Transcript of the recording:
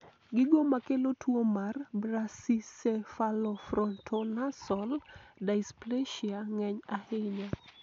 gigo makelo tuo mar Brachycephalofrontonasal dysplasia ng'eny ahinya